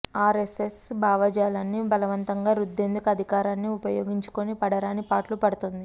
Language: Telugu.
ఆర్ఎస్ఎస్ భావజాలాన్ని బలవంతంగా రుద్దేందుకు అధికారాన్ని ఉపయో గించుకొని పడరానిపాట్లు పడుతోంది